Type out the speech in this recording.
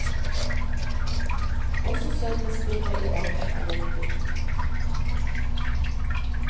Også sødmespillet i maten er viktig.